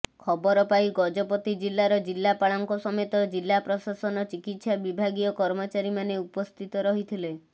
ଖବର ପାଇ ଗଜପତି ଜିଲାର ଜିଲ୍ଲାପାଳଙ୍କ ସମେତ ଜିଲା ପ୍ରଶାସନ ଚିକିତ୍ସା ବିଭାଗୀୟ କର୍ମଚାରୀମାନେ ଉପସ୍ଥିତ ରହିଥିଲେ